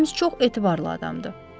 Ems çox etibarlı adamdır.